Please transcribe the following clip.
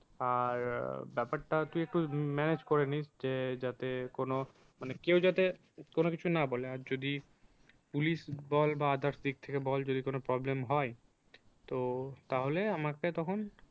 আর ব্যাপারটা তুই একটু manage করেনি যে যাতে কোনো মানে কেউ যাতে কোনো কিছু না বলে আর যদি police বল others দিক থেকে বল যদি কোনো problem হয় তো তাহলে আমাকে তখন